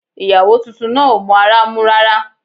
Ìyàwó tuntun náà ò mọ ara mú rárá